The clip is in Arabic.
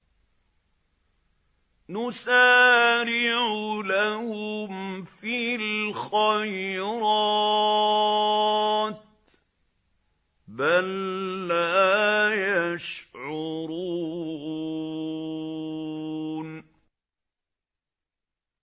نُسَارِعُ لَهُمْ فِي الْخَيْرَاتِ ۚ بَل لَّا يَشْعُرُونَ